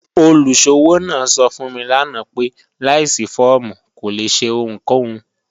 Olùṣọwọ naa sọ̀ fún mi lànà pé láìṣí fọ̀ọ̀mù kò lè ṣẹ̀ ohunkòhun.